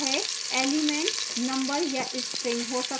elements number या string हो सकते हैं